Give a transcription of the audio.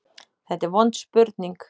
Þetta er vond spurning.